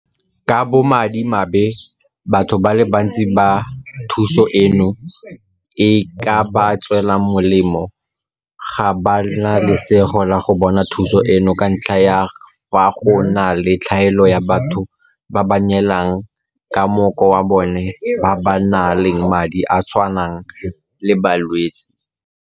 Ka bomadimabe batho ba le bantsi ba thuso eno e ka ba tswelang molemo ga ba na lesego la go bona thuso eno ka ntlha ya fa go na le tlhaelo ya batho ba ba neelanang ka mmoko wa bona ba ba nang le madi a a tshwanang le a balwetse.